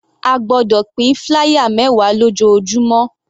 A gbọ́dọ̀ pín flier mẹwa lójoojúmọ́.